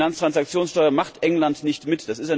Die Finanztransaktionssteuer macht England nicht mit.